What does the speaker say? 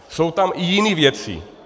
Jsou tam i jiné věci.